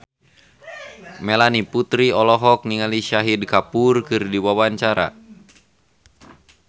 Melanie Putri olohok ningali Shahid Kapoor keur diwawancara